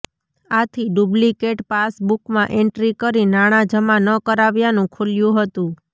આથી duplicate pass બુકમાં entry કરી નાણા જમા ન કરાવ્યાનું ખુલ્યુ હતું